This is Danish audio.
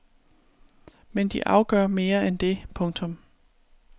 Men de afgør mere end det. punktum